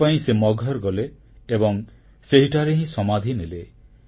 ଏଥିପାଇଁ ସେ ମଗହର ଗଲେ ଏବଂ ସେହିଠାରେ ହିଁ ସମାଧି ନେଲେ